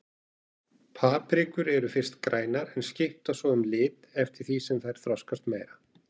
Paprikur eru fyrst grænar en skipta svo um lit eftir því sem þær þroskast meira.